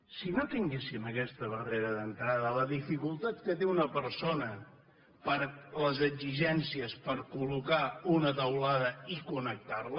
si no tinguéssim aquesta barrera d’entrada la dificultat que té una persona per les exigències per col·locar una teulada i connectar·la